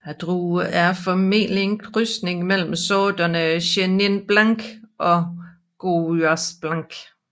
Druen er formentlig en krydsning mellem sorterne Chenin blanc og Gouais blanc